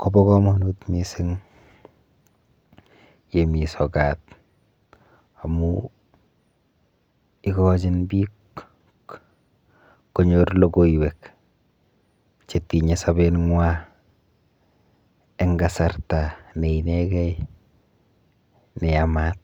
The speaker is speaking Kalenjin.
kopo komonut mising yemi sokat amu ikochin biik konyor logoiwek chetinye sobenwa eng kasarta neinegei neyamat.